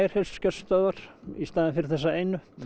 heilsugæslustöðvar í staðinn fyrir þessa einu